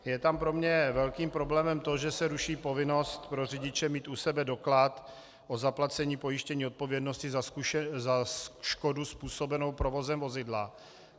Je tam pro mě velkým problémem to, že se ruší povinnost pro řidiče mít u sebe doklad o zaplacení pojištění odpovědnosti za škodu způsobenou provozem vozidla.